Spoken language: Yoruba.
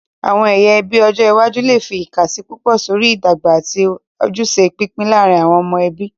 Àwọn ẹyà ẹbí ọjọ iwájú lè fi ìkàsí púpọ̀ sórí ìdọ́gba àti ojúṣe pípín láàárín àwọn ọmọ ẹbí.